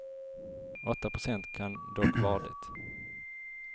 Åtta procent kan dock vara det.